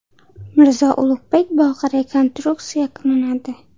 Mirzo Ulug‘bek bog‘i rekonstruksiya qilinadi.